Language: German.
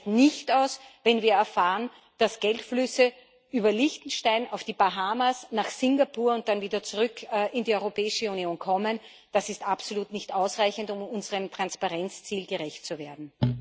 Es reicht nicht aus, wenn wir erfahren, dass Geldflüsse über Liechtenstein auf die Bahamas, nach Singapur und dann wieder zurück in die Europäische Union kommen. Das ist absolut nicht ausreichend, um unserem Transparenzziel gerecht zu werden.